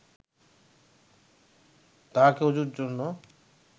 তাঁহাকে ওজুর জন্য